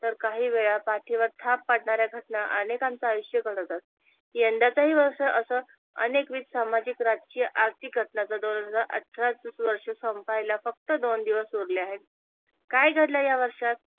तर काही वेळा पाठीवर थाप पाडणाऱ्या घटना अनेकांच आयुष्य बदलतात. यंदाच ही वर्ष अस अनेक वित्त, सामाजिक, राजकीय, आर्थिक घटनांचा दोन हजार अठराच वर्ष संपायला फक्त दोन दिवस उरले आहे काय घडल या वर्षात?